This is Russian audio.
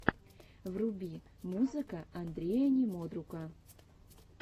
вруби музыка андрея немодрука